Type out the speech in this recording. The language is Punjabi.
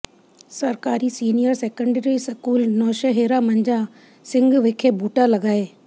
ਸਰਕਾਰੀ senior secondary school Nowshera Majha Singh ਵਿਖੇ ਬੂਟਾ ਲਗਾਏ